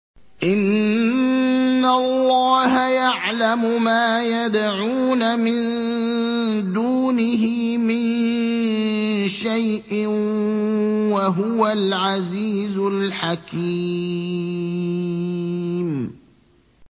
إِنَّ اللَّهَ يَعْلَمُ مَا يَدْعُونَ مِن دُونِهِ مِن شَيْءٍ ۚ وَهُوَ الْعَزِيزُ الْحَكِيمُ